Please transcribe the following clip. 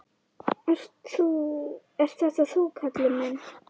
Ert þetta þú, Kalli minn!